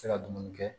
Se ka dumuni kɛ